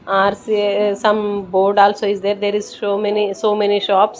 are see some board also is there there is show many so many shops.